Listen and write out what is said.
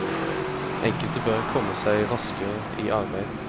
Enkelte bør komme seg raskere i arbeid.